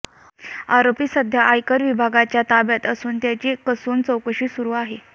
आरोपी सध्या आयकर विभागाच्या ताब्यात असून त्याची कसून चौकशी सुरू आहे